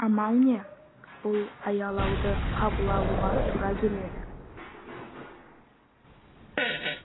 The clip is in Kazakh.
амал не бұл аялауды қабыл алуға тура келеді